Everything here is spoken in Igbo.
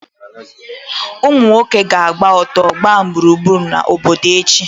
Ụmụ nwoke ga-agba ọtọ gbaa gburugburu obodo echi.